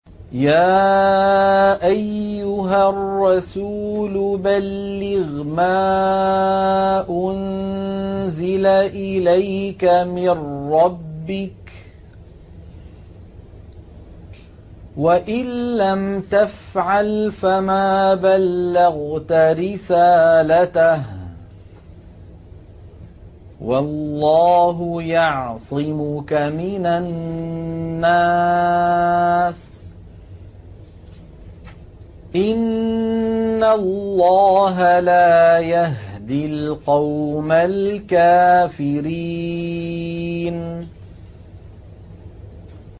۞ يَا أَيُّهَا الرَّسُولُ بَلِّغْ مَا أُنزِلَ إِلَيْكَ مِن رَّبِّكَ ۖ وَإِن لَّمْ تَفْعَلْ فَمَا بَلَّغْتَ رِسَالَتَهُ ۚ وَاللَّهُ يَعْصِمُكَ مِنَ النَّاسِ ۗ إِنَّ اللَّهَ لَا يَهْدِي الْقَوْمَ الْكَافِرِينَ